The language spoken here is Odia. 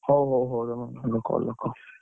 ହଉ ହଉ ତମ call ରଖ।